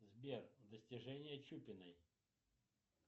сбер достижения чупиной